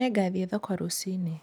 Nĩ ngathiĩ thoko rũcinĩ.